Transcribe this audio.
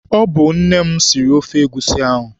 Ọ bụ nne m siri ofe egusi ahụ.